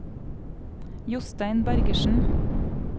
Jostein Bergersen